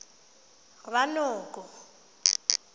ranoko